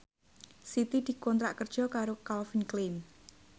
Siti dikontrak kerja karo Calvin Klein